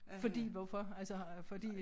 Fordi hvorfor altså fordi